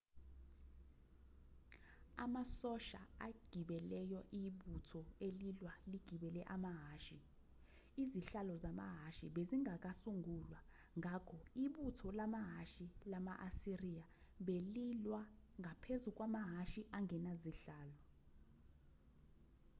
amasosha agibeleyo ibutho elilwa ligibele amahhashi izihlalo zamahhashi bezingakasungulwa ngakho ibutho lamahhashi lama-asiriya belilwa ngaphezu kwamahhashi angenazihlalo